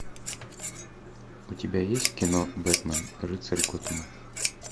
у тебя есть кино бэтмен рыцарь готэма